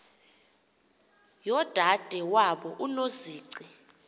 yodade wabo unozici